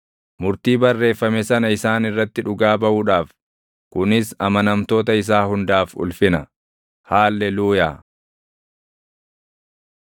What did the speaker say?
murtii barreeffame sana isaan irratti dhugaa baʼuudhaaf. Kunis amanamtoota isaa hundaaf ulfina. Haalleluuyaa.